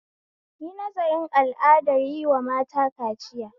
Yi nazarin al'adar yin wata mata kaciya